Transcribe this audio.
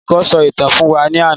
Olùkọ sọ ìtàn fún wa ní àna